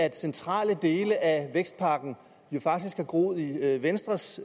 at centrale dele af vækstpakken jo faktisk har groet i venstres